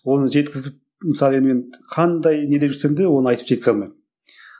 оны жеткізіп мысалы мен енді мен қандай неде жүрсемде оны айтып жеткізе алмаймын